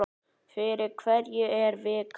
Fyrir hverja er vikan?